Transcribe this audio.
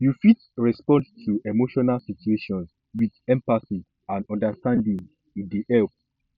you fit respond to emotional situations with empathy and understanding e dey help